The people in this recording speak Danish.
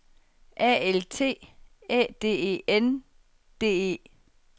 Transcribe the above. A L T Æ D E N D E